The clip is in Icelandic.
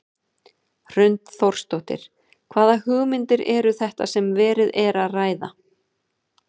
Hrund Þórsdóttir: Hvaða hugmyndir eru þetta sem verið er að ræða?